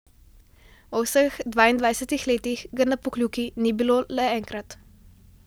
V vseh dvaindvajsetih letih ga na Pokljuki ni bilo le enkrat.